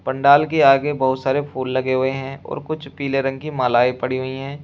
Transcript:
पंडाल के आगे बहोत सारे फूल लगे हुए हैं और कुछ पीले रंग की मालाए पड़ी हुई है।